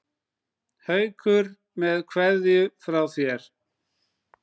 Haukur með kveðju frá þér.